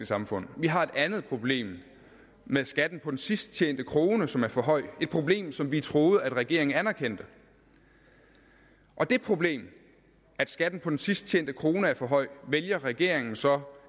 samfund vi har et andet problem med skatten på den sidst tjente krone som er for høj et problem som vi troede at regeringen anerkendte og det problem at skatten på den sidst tjente krone er for høj vælger regeringen så